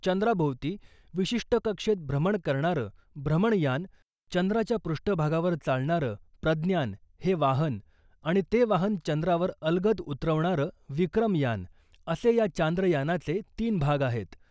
चंद्राभोवती विशिष्ट कक्षेत भ्रमण करणारं भ्रमणयान, चंद्राच्या पृष्ठभागावर चालणारं प्रज्ञान हे वाहन आणि ते वाहन चंद्रावर अलगद उतरवणारं विक्रम यान, असे या चांद्रयानाचे तीन भाग आहेत.